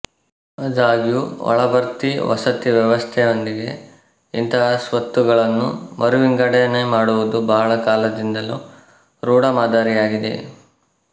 ಅದಾಗ್ಯೂ ಒಳಭರ್ತಿ ವಸತಿ ವ್ಯವಸ್ಥೆಯೊಂದಿಗೆ ಇಂಥ ಸ್ವತ್ತುಗಳನ್ನು ಮರುವಿಂಗಡಣೆ ಮಾಡುವುದು ಬಹಳ ಕಾಲದಿಂದಲೂ ರೂಢಮಾದರಿಯಾಗಿದೆ